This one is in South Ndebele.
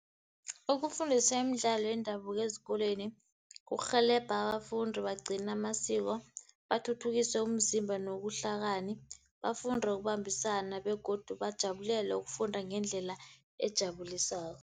Ukufundisa imidlalo yendabuko ezikolweni, kurhelebha abafundi bagcina amasiko, bathuthukise umzimba nobuhlakani. Bafunde ukubambisana begodu bajabulele ukufunda ngendlela ejabulisako.